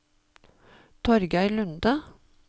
Torgeir Lunde